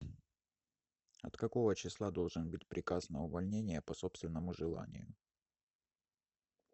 от какого числа должен быть приказ на увольнение по собственному желанию